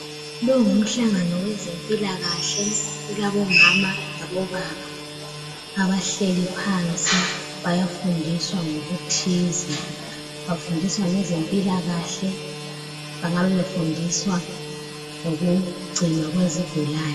Lo ngumhlangano wezempilakahle. Kulabomama labobaba, abahleli phansi. Bayafundiswa ngokuthize. Bafundiswa ngezemphilakahle, bangabe befundiswa ngokugcinwa kwezigulane.